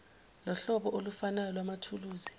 lohlobo olufanayo lwamathuluzi